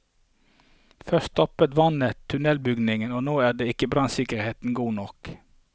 Først stoppet vannet tunnelbyggingen, og nå er ikke brannsikkerheten god nok.